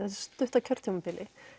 stutta kjörtímabili